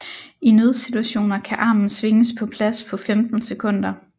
I nødsituationer kan armen svinges på plads på 15 sekunder